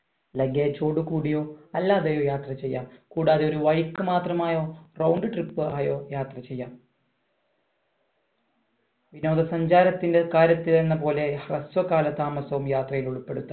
luggage ഓട് കൂടിയും അല്ലാതെയോ യാത്ര ചെയ്യാം കൂടാതെ ഒരു വഴിക്ക് മാത്രമായോ round trip ആയോ യാത്ര ചെയ്യാം വിനോദസഞ്ചാരത്തിന്റെ കാര്യത്തിൽ എന്നപോലെ ഹ്രസ്വകാല താമസവും യാത്രയിൽ ഉൾപ്പെടുത്താം